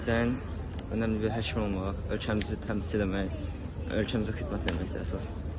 Gələcəyin önəmli bir həkim olmaq, ölkəmizi təmsil eləmək, ölkəmizə xidmət eləməkdir əsas.